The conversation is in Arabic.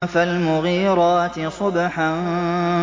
فَالْمُغِيرَاتِ صُبْحًا